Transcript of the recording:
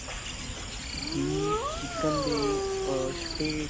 ਹੀ chicken ਦੇ ah ਛੋਟੇ